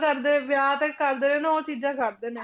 ਕਰਦੇ ਵਿਆਹ ਤੇ ਕਰਦੇ ਆ ਨਾ ਉਹ ਚੀਜ਼ਾਂ ਕਰਦੇ ਨੇ